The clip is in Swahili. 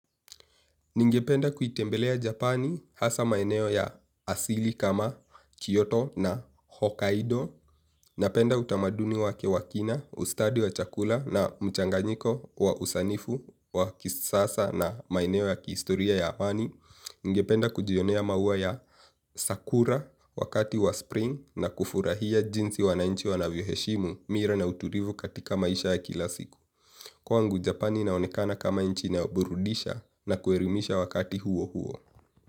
Ningependa kuitembelea Japani hasa maeneo ya asili kama Kyoto na Hokkaido. Napenda utamaduni wake wakina, ustadi wa chakula na mchanganyiko wa usanifu wa kisasa na maeneo ya kiistoria ya haani. Ningependa kujionea maua ya sakura wakati wa spring na kufurahia jinsi wanainchi wanavyoheshimu mira na uturivu katika maisha ya kilasiku kwangu japani inaonekana kama nchi inayo buridisha na kuelimisha wakati huo huo.